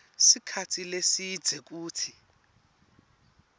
sikhatsi lesidze kutsi